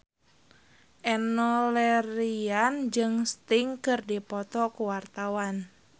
Enno Lerian jeung Sting keur dipoto ku wartawan